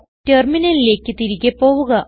ടെർമിനലിലേക്ക് തിരികെ പോവുക